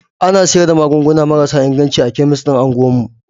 Ana sayar da magunguna marasa inganci a kemis din unguwar mu.